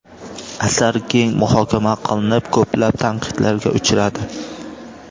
Asar keng muhokama qilinib, ko‘plab tanqidlarga uchradi.